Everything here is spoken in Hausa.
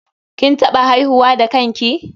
KIn taɓa haihuwa da kan ki?